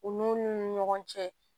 U nun ni ɲɔgɔn cɛ